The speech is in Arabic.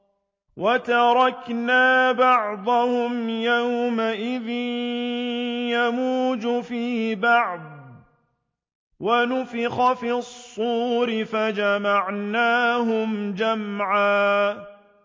۞ وَتَرَكْنَا بَعْضَهُمْ يَوْمَئِذٍ يَمُوجُ فِي بَعْضٍ ۖ وَنُفِخَ فِي الصُّورِ فَجَمَعْنَاهُمْ جَمْعًا